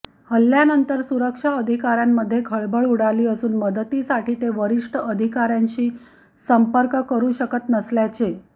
हल्ल्यानंतर सुरक्षा अधिकाऱयांमध्ये खळबळ उडाली असून मदतीसाठी ते वरिष्ठ अधिकाऱयांशी संपर्क करू शकत नसल्याचे